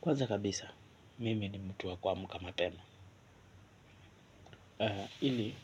Kwaza kabisa, mimi ni mtu wa kuamka mapema. Ili,